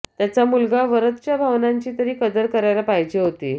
त्याचा मुलगा वरदच्या भावनांची तरी कदर करायला पाहिजे होती